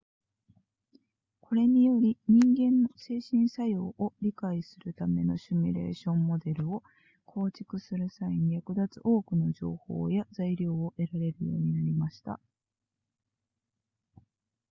これにより人間の精神作用を理解するためのシミュレーションモデルを構築する際に役立つ多くの情報や材料を得られるようになりました